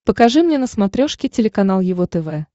покажи мне на смотрешке телеканал его тв